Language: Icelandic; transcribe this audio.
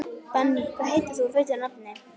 Benný, hvað heitir þú fullu nafni?